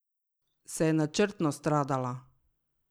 Se je načrtno stradala?